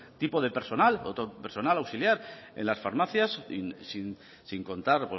tipo de personas otro personal auxiliar en las farmacias sin contar